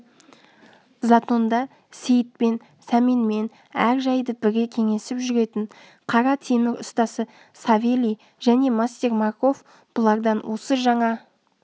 затонда сейітпен сәменмен әр жайды бірге кеңесіп жүретін қара темір ұстасы савелий және мастер марков бұлардан осы жаңа